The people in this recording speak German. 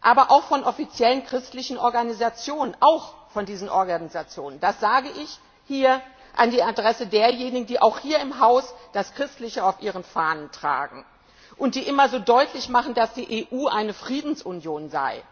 aber auch von offiziellen christlichen Organisationen auch von diesen Organisationen. Das sage ich hier an die Adresse derjenigen, die auch hier im Haus das Christliche auf ihren Fahnen tragen und die immer so deutlich machen, dass die EU eine Friedensunion sei.